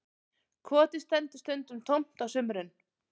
Kotið stendur stundum tómt á sumrin